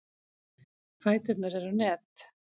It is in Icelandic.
Fæturnir eru net.